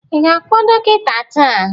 Ị ga-akpọ dọkịta taa?